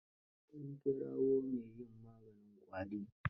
An kirawo mai yin maganin ƙwari.